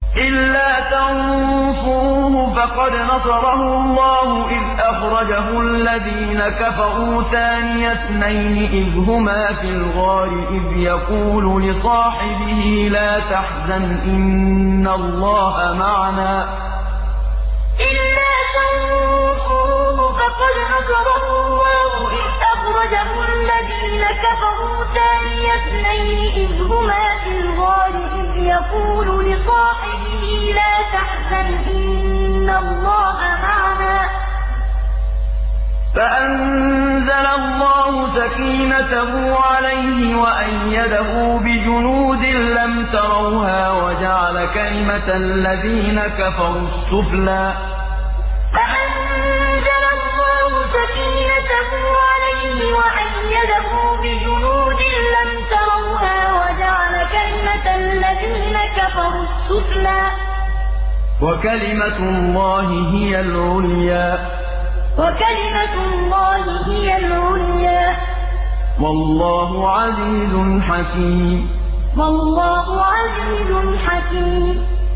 إِلَّا تَنصُرُوهُ فَقَدْ نَصَرَهُ اللَّهُ إِذْ أَخْرَجَهُ الَّذِينَ كَفَرُوا ثَانِيَ اثْنَيْنِ إِذْ هُمَا فِي الْغَارِ إِذْ يَقُولُ لِصَاحِبِهِ لَا تَحْزَنْ إِنَّ اللَّهَ مَعَنَا ۖ فَأَنزَلَ اللَّهُ سَكِينَتَهُ عَلَيْهِ وَأَيَّدَهُ بِجُنُودٍ لَّمْ تَرَوْهَا وَجَعَلَ كَلِمَةَ الَّذِينَ كَفَرُوا السُّفْلَىٰ ۗ وَكَلِمَةُ اللَّهِ هِيَ الْعُلْيَا ۗ وَاللَّهُ عَزِيزٌ حَكِيمٌ إِلَّا تَنصُرُوهُ فَقَدْ نَصَرَهُ اللَّهُ إِذْ أَخْرَجَهُ الَّذِينَ كَفَرُوا ثَانِيَ اثْنَيْنِ إِذْ هُمَا فِي الْغَارِ إِذْ يَقُولُ لِصَاحِبِهِ لَا تَحْزَنْ إِنَّ اللَّهَ مَعَنَا ۖ فَأَنزَلَ اللَّهُ سَكِينَتَهُ عَلَيْهِ وَأَيَّدَهُ بِجُنُودٍ لَّمْ تَرَوْهَا وَجَعَلَ كَلِمَةَ الَّذِينَ كَفَرُوا السُّفْلَىٰ ۗ وَكَلِمَةُ اللَّهِ هِيَ الْعُلْيَا ۗ وَاللَّهُ عَزِيزٌ حَكِيمٌ